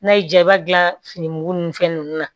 N'a y'i diya i b'a dilan fini mugu ni fɛn nunnu na